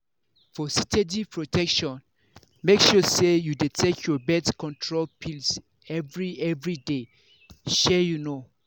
for steady protection make sure say you dey take your birth control pills every every day! shey you know.